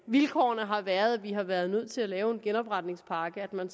vilkårene har været at vi har været nødt til at lave en genopretningspakke at man